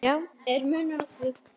Já, er munur á því?